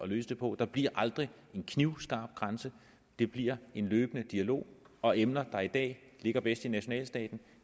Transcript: løse det på der bliver aldrig en knivskarp grænse det bliver en løbende dialog og emner der i dag ligger bedst i nationalstaten